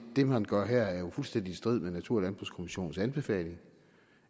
det man gør her er fuldstændig i strid med natur og landbrugskommissionens anbefaling